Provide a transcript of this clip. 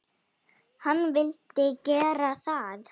Hann vildi gera það.